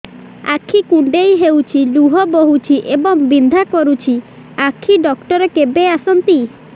ଆଖି କୁଣ୍ଡେଇ ହେଉଛି ଲୁହ ବହୁଛି ଏବଂ ବିନ୍ଧା କରୁଛି ଆଖି ଡକ୍ଟର କେବେ ଆସନ୍ତି